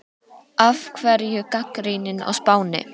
Af hverju gagnrýnin á Spáni?